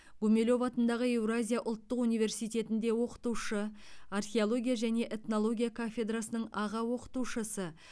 гумилев атындағы еуразия ұлттық университетінде оқытушы археология және этнология кафедрасының аға оқытушысы